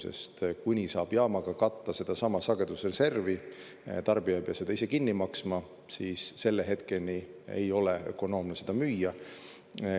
Sest kuni saab jaamaga katta sedasama sagedusreservi, tarbija ei pea seda ise kinni maksma, siis selle hetkeni ei ole ökonoomne seda müüa.